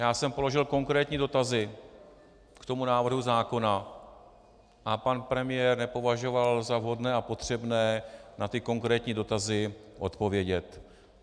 Já jsem položil konkrétní dotazy k tomu návrhu zákona a pan premiér nepovažoval za vhodné a potřebné na ty konkrétní dotazy odpovědět.